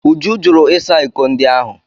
Uju jụrụ ịsa iko ndị ahụ.